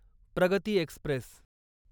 प्रगती एक्स्प्रेस